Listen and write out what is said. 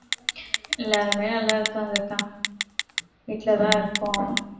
எல்லாருமே நல்லா இருக்காங்க அக்கா வீட்டுலதான் இருக்கோம்